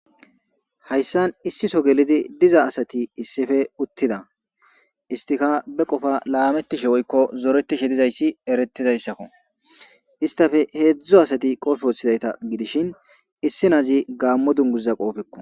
Hayissan issi soon gelidi utida istikka ba qofa lametishshe dizayissa eretzayisakko istappe hezdzdu asati qofe wothada issi adezikka gammo dunguza qofekko